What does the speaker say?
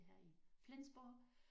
Her i Flensborg